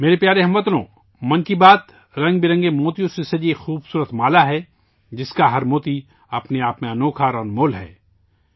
میرے پیارے ہم وطنو، 'من کی بات' رنگ برنگے موتیوں سے مزین ایک خوبصورت ہار ہےجس کا ہر موتی اپنے آپ میں انوکھااور بیش قیمت ہے